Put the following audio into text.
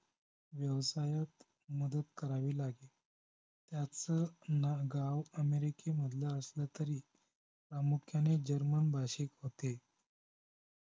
व्यवसायात मदत करावी लागे त्याच ना गाव अमेरिकेलमधल असलं तरी प्रामुख्यानं जर्मन भाषिक होते